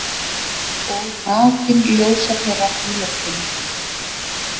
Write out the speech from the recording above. Og nakin ljósapera í loftinu.